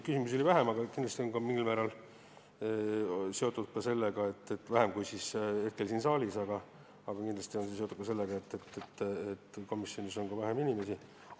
Küsimusi oli vähem kui siin saalis, kindlasti on see seotud ka sellega, et komisjonis on vähem inimesi.